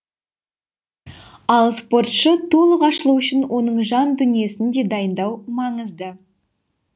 ал спортшы толық ашылуы үшін оның жан дүниесін де дайындау маңызды